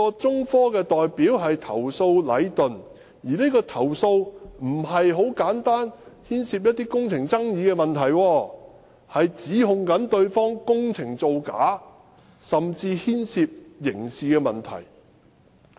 中科的代表投訴的是禮頓，而且有關的投訴不是牽涉簡單的工程爭議問題，而是指控對方工程造假，甚至牽涉刑事問題。